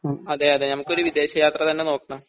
അതേ അതേ നമുക്ക് ഒരു വിദേശ യാത്ര തന്നെ നോക്കണം